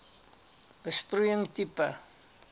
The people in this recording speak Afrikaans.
besproeiing tipe